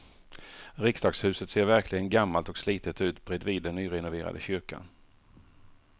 Riksdagshuset ser verkligen gammalt och slitet ut bredvid den nyrenoverade kyrkan.